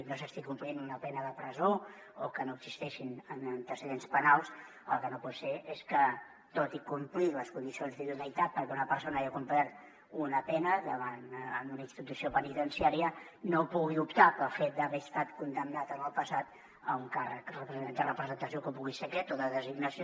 no s’estigui complint una pena de presó o que no existeixin antecedents penals el que no pot ser és que tot i complir les condicions d’idoneïtat perquè una persona ja ha complert una pena en una institució penitenciària no pugui optar pel fet d’haver estat condemnat en el passat a un càrrec de representació com pugui ser aquest o de designació